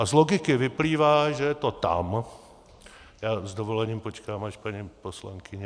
A z logiky vyplývá, že je to tam - já s dovolením počkám, až paní poslankyně...